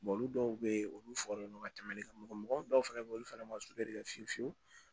olu dɔw be yen olu fɔri mɔgɔ dɔw fɛnɛ be ye olu fana ma kɛ fiyewu fiyewu